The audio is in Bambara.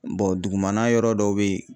dugumana yɔrɔ dɔw bɛ yen.